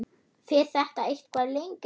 Fer þetta eitthvað lengra?